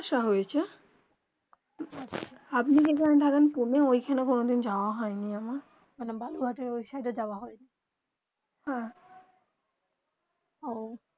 আসা হয়ে চে আপনি যে খানে থাকেন ওখানে কোনো দিন যাওবা হয়ে নি এমন মানে বালুঘাটে ও সাইড যাওবা হয়ে নি হে ওহঃ